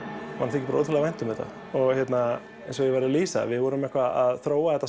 þykir ótrúlega vænt um þetta eins og ég var að lýsa við vorum að þróa þetta